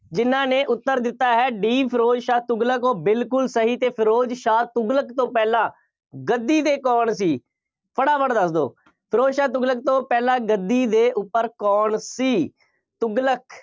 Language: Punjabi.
ਜਿੰਨ੍ਹਾ ਨੇ ਉੱਤਰ ਦਿੱਤਾ ਹੈ D ਫਿਰੋਜ਼ ਸ਼ਾਹ ਤੁਗਲਕ, ਉਹ ਬਿਲਕੁੱਲ ਸਹੀ ਅਤੇ ਫਿਰੋਜ਼ ਸ਼ਾਹ ਤੁਗਲਕ ਤੋਂ ਪਹਿਲਾਂ ਗੱਦੀ 'ਤੇ ਕੌਣ ਸੀ? ਫਟਾਫਟ ਦੱਸ ਦਿਓ। ਫਿਰੋਜ਼ ਸ਼ਾਹ ਤੁਗਲਕ ਤੋਂ ਪਹਿਲਾਂ ਗੱਦੀ ਦੇ ਉੱਪਰ ਕੌਣ ਸੀ? ਤੁਗਲਕ